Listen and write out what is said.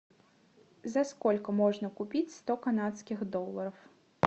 за сколько можно купить сто канадских долларов